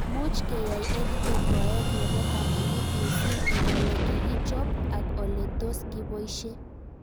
Much keyai EdTech koek nepo kamanut mising' eng' ole kikichop ak ole tos kipoishe